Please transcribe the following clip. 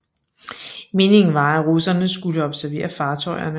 Meningen var at russerne skulle observere fartøjerne